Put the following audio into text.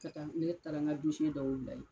Ka taa ne taara ŋa dɔw bila ye.